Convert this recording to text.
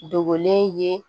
Dogolen ye